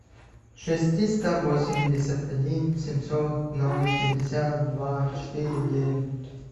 шесть триста восемьдесят один семьсот ноль пятьдесят два четыре девять